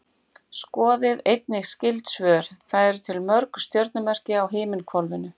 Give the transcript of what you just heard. Skoðið einnig skyld svör: Hvað eru til mörg stjörnumerki á himinhvolfinu?